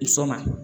Sɔn ma ɲi